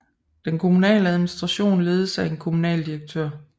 Den kommunale administration ledes af en kommunaldirektør